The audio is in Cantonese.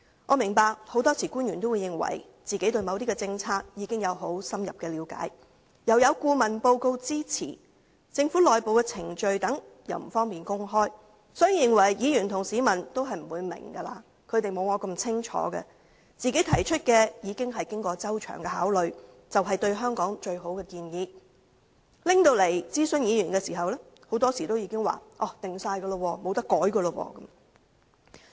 我明白，很多時候，官員認為自己對某些政策已經有很深入的了解，又有顧問報告的支持，加上政府內部程序等不便公開，所以認為議員和市民不會明白，沒有他們自己那麼清楚，認為自己提出的意見已經過周詳考慮，是對香港最好的建議，於是提交立法會諮詢議員時，便說已成定局，無法更改。